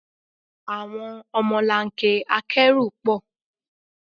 Àwọn ọmọlanke akẹ́rù pọ̀.